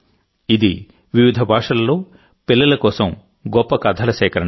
ఇది వివిధ భాషలలో పిల్లల కోసం గొప్ప కథల సేకరణ